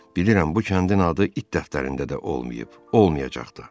bilirəm bu kəndin adı it dəftərində də olmayıb, olmayacaq da.